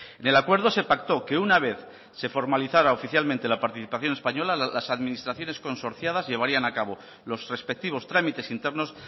en el acuerdo se pactó que una vez se formalizara oficialmente la participación española las administraciones consorciadas llevarían a cabo los respectivos trámites internos